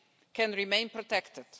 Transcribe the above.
can remain protected.